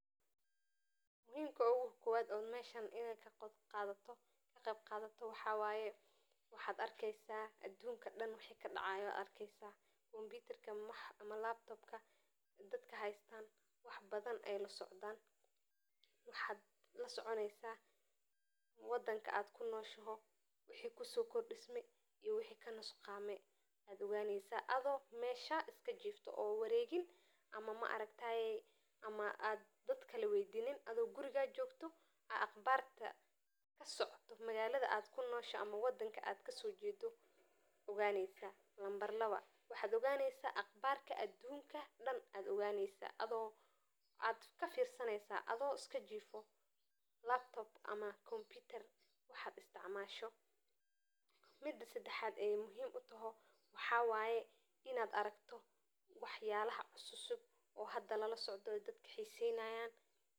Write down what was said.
Muhiim ogokowaad ooo howshan ogaqeyb qadato waxa wye kombutarka waxa kaarki howlaha wadanka kasocdo oo iyo wixi kanusqame adigo qofna weydinin gurigadana kabixin oo aqbarta adunka ayad oganeysa adhigo gurigaga kabixin. Tan sadexad waxa waye waxyabo cussub ayad lasoconi.